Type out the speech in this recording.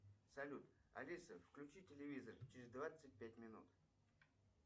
салют алиса включи телевизор через двадцать пять минут